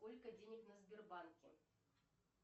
сколько денег на сбербанке